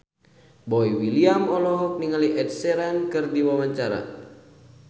Boy William olohok ningali Ed Sheeran keur diwawancara